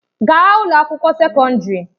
Gaa ụlọ akwụkwọ sekọndrị!